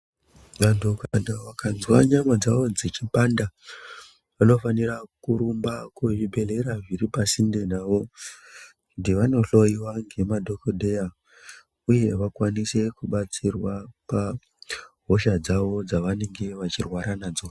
Vantu kana vakanzwa nyama dzavo dzichipanda vanofanira kurumba kuzvibhehleya zviri pasinde navo kuti vanohloyiwa ngemadhogodheya uye vakwanise kubatsirwa pahosha dzavo dzavanenge vachirwara nadzo.